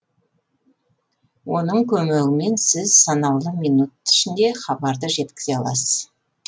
оның көмегімен сіз санаулы минуттар ішінде хабарды жеткізе аласыз